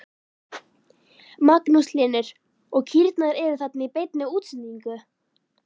Magnús Hlynur: Og kýrnar eru þarna í beinni útsendingu?